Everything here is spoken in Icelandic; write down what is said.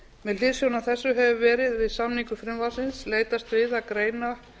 með hliðsjón af þessu hefur verið við samningu frumvarpsins leitast við að greina